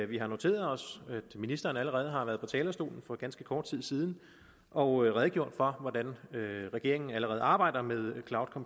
vi har noteret os at ministeren allerede har været på talerstolen for ganske kort tid siden og redegjort for hvordan regeringen allerede arbejder med